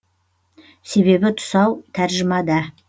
себебі тұсау тәржімада